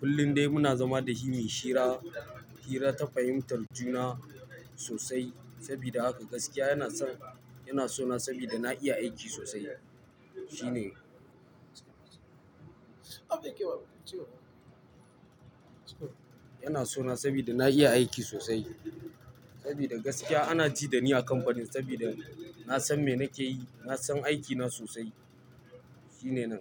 Kullum dai muna zama da shi muyi, hira, hira, ta fahimtar juna sosai. Saboda haka gaskiya yanna son, yana so na saboda na iya aiki sosai. Shine. Yana so na saboda na iya aiki sosai. Saboda gaskiya ana ji da ni a kamfanin sabida na san me nake yi. Na san aikina sosai. Shine nan.